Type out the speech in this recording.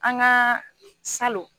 An ka salon